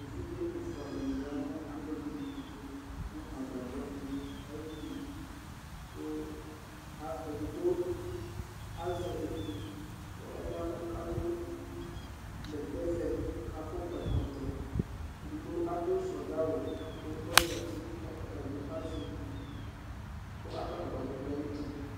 Evidze ɛfua dini ya nu alidìni ɛtu, nu agbadɔ̃ di ayi uti ku edigbo azɛ etu k'ɔyavù k'adu bɛtɛ vɛ, k'akɔ ɛkɔtɔ, edigbo adu sodza awu ku ɔzati k'ɔtabi azɛ etu k' adu agbadɔ di ayi uti